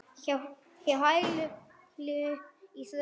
Hjá hælinu í hrauni.